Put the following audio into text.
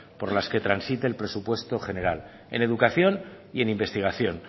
por las que transite el presupuesto general en educación y en investigación